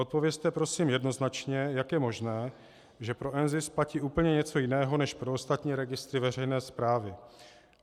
Odpovězte prosím jednoznačně, jak je možné, že pro NZIS platí úplně něco jiného než pro ostatní registry veřejné správy.